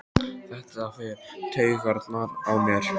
Þetta fer í taugarnar á mér.